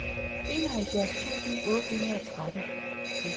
enoghalvfjerds tusind otte hundrede og tretten